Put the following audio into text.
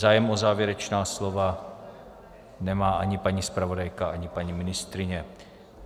Zájem o závěrečná slova nemá ani paní zpravodajka, ani paní ministryně.